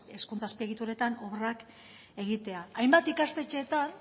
hezkuntza azpiegituretan obrak egitea hainbat ikastetxeetan